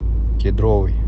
кедровый